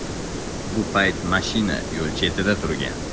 Bu payt mashina yo‘l chetida turgan.